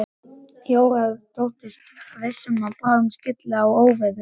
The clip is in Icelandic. Jóra þóttist viss um að bráðum skylli á óveður.